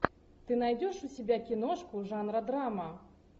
ты найдешь у себя киношку жанра драма